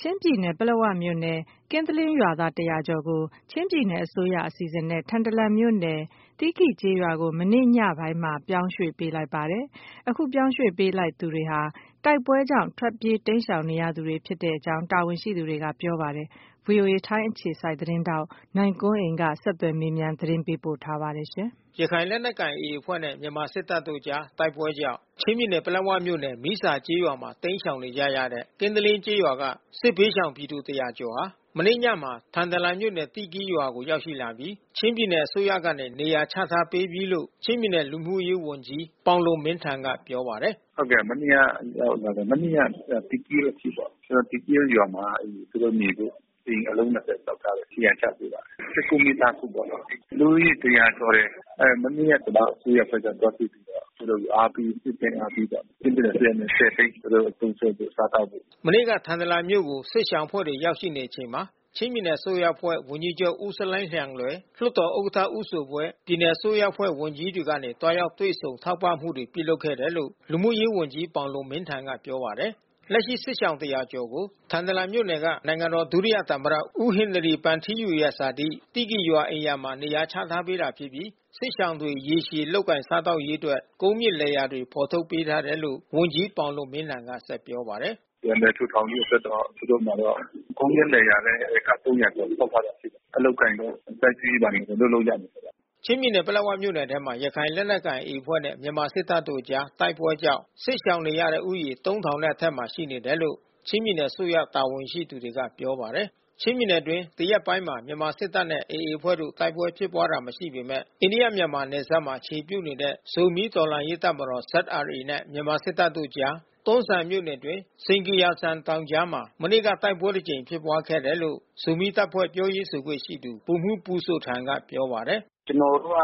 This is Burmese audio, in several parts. ချင်းပြည်နယ် ပလက်ဝမြို့နယ် ကင်းသလင်းရွာသား ၁၀၀ ကျော်ကို ချင်းပြည်နယ်အစိုးရ အစီအစဉ်နဲ့ ထန်တလန်မြို့နယ် သီးကီရ်ကျေးရွာကို မနေ့ညပိုင်းမှာ ပြောင်းရွှေ့ပေးလိုက်ပါတယ်။ အခုပြောင်းရွှေ့ပေးလိုက်သူတွေဟာ တိုက်ပွဲကြောင့် ထွက်ပြေး တိမ်းရှောင်နေရသူတွေ ဖြစ်တဲ့အကြောင်း တာဝန်ရှိတွေက ပြောပါတယ်။ အပြည့်အစုံကို ဗွီအိုအေသတင်းထောက် နိုင်ကွန်းအိန်က ဆက်သွယ်မေးမြန်း သတင်းပေးပို့ထားပါတယ်။ ရခိုင်လက်နက်ကိုင် AA အဖွဲ့နဲ့ မြန်မာစစ်တပ်တို့အကြား တိုက်ပွဲကြောင့် ချင်းပြည်နယ် ပလက်ဝမြို့နယ် မီးဇာကျေးရွာမှာ တိမ်းရှောင်နေကြတဲ့ ကင်းတလင်းကျေးရွာက စစ်ဘေးရှောင်ပြည်သူ ၁၀၀ ကျော်ဟာ မနေ့ညမှာ ထန်တလန်မြို့နယ် သီးကီရ်ရွာကို ရောက်ရှိပြီး ချင်းပြည်နယ်အစိုးရကနေ နေရာချထားပေးပြီးလို့ ချင်းပြည်နယ် လူမှုရေးဝန်ကြီး ပေါင်လွန်မင်းထန်က ပြောပါတယ်။ “မနေ့က ရောက်လာတယ်။ မနေ့က သီးကီရ်အထိပေါ့။ သီးကီရ်ရွာမှာ သူတို့နေဖို့ အိမ်အလုံး ၂၀ ဆောက်ထားတယ်။ နေရာချပေးပါတယ်။ ၁၉ မိသားစုပေါ့နော်။ လူဦးရေ ၁၀၀ ကျော်တယ်။ မနေ့က ကျနော်တို့အစိုးရအဖွဲ့က သွားတွေ့ပြီးတော့ သူတို့ကို နှစ်သိမ့်အားပေးကြတယ်။ ချင်းပြည်နယ်အစိုးရက ၁၀ သိန်း သူတို့သုံးစွဲဖို့ စားသောက်ဖို့။” မနေ့က ထန်တလန်မြို့ကို စစ်ရှောင်အဖွဲ့တွေ ရောက်ရှိချိန်မှာ ချင်းပြည်နယ်အစိုးရအဖွဲ့ ဝန်ကြီးချူပ် ဦးဆလိုင်းလျန်လွယ်၊ လွှတ်တော်ဥက္ကဋ္ဌ ဦးဇိုဘွေ့၊ ပြည်နယ်အစိုးရအဖွဲ့ ဝန်ကြီးတွေကနေ သွားရောက်တွေ့ဆုံ ထောက်ပံ့မှုတွေ ပြုလုပ်ခဲ့တယ်လို့ လူမှုရေးဝန်ကြီး ပေါင်လွန်မင်းထန်က ပြောပါတယ်။ လက်ရှိ စစ်ရှောင် ၁၀၀ ကျော်ကို ထန်တလန်မြို့နယ်က နိုင်ငံတော်ဒုသမ္မတ ဦးဟင်နရီဗန်ထီးယူရဲ့ ဇာတိ သီးကီရ်ရွာ အိမ်ရာမှာ နေရာချထားပေးတာဖြစ်ပြီး စစ်ရှောင်တွေ ရေရှည်လုပ်ကိုင် စားသောက်ရေးအတွက် ကုန်းမြင့်လယ်ယာတွေ ဖော်ထုတ်ပေးထားတယ်လို့ ဝန်ကြီး ပေါင်လွန်မင်းထန်က ဆက်ပြောပါတယ်။ “ပြန်လည်ထူထောင်ရေးအတွက်တော့ သူတို့မှာတော့ ကုန်းမြင့်လယ်ယာလည်း ဧက ၃၀၀ ကျော် ထုတ်ထားတာရှိတယ်။ အလုပ်အကိုင်တို့ စိုက်ပျိုးရေးဘာတွေတော့ လုပ်လို့ရတယ်ပေါ့။” ချင်းပြည်နယ် ပလက်ဝမြို့နယ်ထဲမှာ ရခိုင်လက်နက်ကိုင် AA အဖွဲ့နဲ့ မြန်မာစစ်တပ်တို့အကြား တိုက်ပွဲကြောင့် စစ်ရှောင်နေရတဲ့ဦးရေ ၃၀၀၀ နဲ့အထက်မှာ ရှိနေတယ်လို့ ချင်းပြည်နယ်အစိုးရ တာဝန်ရှိသူတွေက ပြောပါတယ်။ ချင်းပြည်နယ်အတွင်း ဒီရက်ပိုင်းမှာ မြန်မာစစ်တပ်နဲ့ AA အဖွဲ့တို့ တိုက်ပွဲဖြစ်ပွားတာ မရှိပေမယ့် အိန္ဒိယ-မြန်မာနယ်စပ်မှာ အခြေပြုနေတဲ့ ဇိုမီး တော်လှန်ရေးတပ်မတော် နဲ့ မြန်မာစစ်တပ်တို့အကြား တွန်းဇံမြို့နယ်အတွင်း စိန်ဂီယာလ်ဇန် တောင်ကြားမှာ မနေ့က တိုက်ပွဲတကြိမ် ဖြစ်ပွားခဲ့တယ်လို့ ဇိုမီးတပ်ဖွဲ့ ပြောရေးဆိုခွင့်ရှိသူ ဗိုလ်မှူး ပူဇိုထန်က ပြောပါတယ်။ “ကျနော်တို့က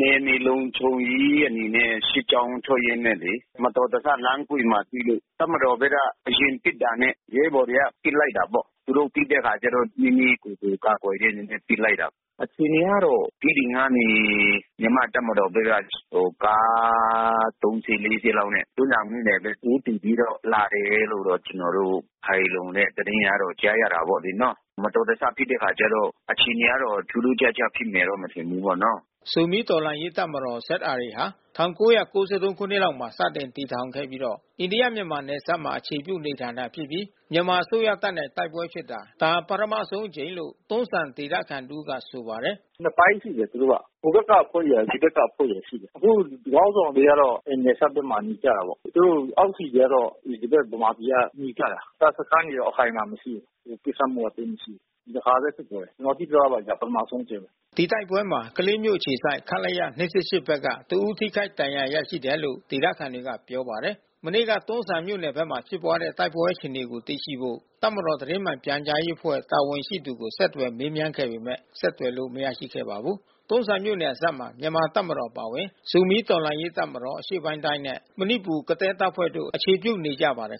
နယ်မြေလုံခြုံရေးအနေနဲ့ စစ်ကြောင်းထွက်ရင်းနဲ့လေ။ မတော်တဆ လမ်းအကွေ့မှာတွေ့လို့ တပ်မတော်ဘက်က အရင်ပစ်တာနဲ့ ရဲဘော်တွေက ပစ်လိုက်တာပေါ့။ သူတို့ပစ်တဲ့အခါကျတော့ မိမိကိုယ်ကို ကာကွယ်တဲ့အနေနဲ့ ပစ်လိုက်တာပေါ့။ အခြေအနေကတော့ တီးတိန်ကနေ မြန်မာ့တပ်မတော်ဘက်က ကားသုံးစီး လေးစီးလောက်နဲ့ တွန်းဇံမြို့နယ်ထဲ ဦးတည်ပြီးတော့ လာတယ်လို့ ကျနော်တို့ ခိုင်လုံတဲ့ သတင်းကတော့ ကြားရတယ်ပေါ့နော်။ မတော်တဆ ဖြစ်တဲ့အခါကျတော့ အခြေအနေကတော့ ထူးထူးခြားခြားဖြစ်မယ်တော့ မထင်ဘူးပေါ့နော။” ဇိုမီးတော်လှန်ရေးတပ်မတော် ဟာ ၁၉၉၃ ခုနှစ်မှာ စတင်တည်ထောင်ခဲ့ပြီးတော့ အိန္ဒိယ-မြန်မာ နယ်စပ်မှာ အခြေပြု နေထိုင်တာဖြစ်ပြီး မြန်မာအစိုးရတပ်နဲ့ တိုက်ပွဲဖြစ်တာ ဒါ ပထမဆုံးအကြိမ်လို့ တွန်းဇံဒေသခံတဦးက ဆိုပါတယ်။ “နှစ်ပိုင်းရှိတယ် သူတို့က။ ဟိုဘက်ကအဖွဲ့ရယ် ဒီဘက်ကအဖွဲ့ရယ် ဆိုတာရှိတယ်။ သူတို့ခေါင်းဆောင်တွေကတော့ နယ်စပ်ဘက်မှာ နေကြတာပေါ့။ သူတို့အောက်ခြေကတော့ ဒီဘက် ဗမာပြည်ကနေကြတာ။ တပ်စခန်းတွေတော့ အခိုင်အမာမရှိဘူး။ ပစ်ခတ်မှုက သိပ်မရှိဘူး။ ဒီတခါပဲ ဖြစ်သွားတယ်။ ကျနော်သိသလောက်တော့ ဒါ ပထမဦးဆုံးအကြိမ်ပဲ။” ဒီတိုက်ပွဲမှာ ကလေးမြို့အခြေစိုက် ခလရ ၂၂၈ ဘက်က တဦး ထိခိုက်ဒဏ်ရာ ရရှိတယ်လို့ ဒေသခံတွေက ပြောပါတယ်။ မနေ့က တွန်းဇံမြို့နယ်ဘက်မှာ ဖြစ်ပွားတဲ့ တိုက်ပွဲအခြေအနေကို သိရှိဖို့ တပ်မတော် သတင်းမှန်ပြန်ကြားရေးအဖွဲ့ တာဝန်ရှိသူကို ဆက်သွယ်မေးမြန်းခဲ့ပေမယ့် ဆက်သွယ်လို့ မရခဲ့ပါဘူး။ တွန်းဇံမြို့ နယ်စပ်ဘက်မှာ မြန်မာတပ်မတော် အပါအဝင် ဇိုမီးတော်လှန်ရေးတပ်မတော် နဲ့ မဏိပူရ် ကသည်းတပ်ဖွဲ့တို့ အခြေပြုနေကြပါတယ်